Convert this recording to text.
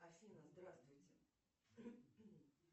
афина здравствуйте